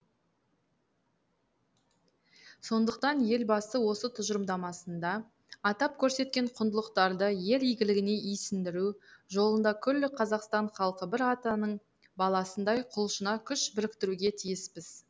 сондықтан елбасы осы тұжырымдамасында атап көрсеткен құндылықтарды ел игілігіне исіндіру жолында күллі қазақстан халқы бір атаның баласындай құлшына күш біріктіруге тиіспіз